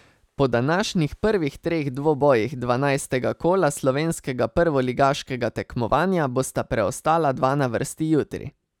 Po današnjih prvih treh dvobojih dvanajstega kola slovenskega prvoligaškega tekmovanja bosta preostala dva na vrsti jutri.